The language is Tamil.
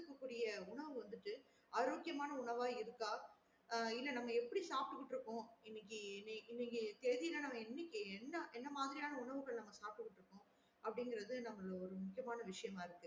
அனுப்ப கூடிய உணவு வந்துட்டு ஆரோக்கியமான உணவா இருக்கா? இல்ல நம்ம எப்டி சாப்ட்டு கிட்டு இருக்கோம் இன்னைக்கு இன்னக்கு தேதில நம்ம இன்னக்கு என்ன என்ன மாரியான உணவுகள் நம்ம சாப்ட்டு கிட்டு இருக்கோம் அப்டிங்குறது நம்மள ஒரு முக்கியமான விஷயமா இருக்கு